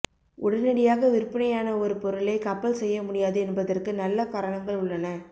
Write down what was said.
உடனடியாக விற்பனையான ஒரு பொருளை கப்பல் செய்ய முடியாது என்பதற்கு நல்ல காரணங்கள் உள்ளன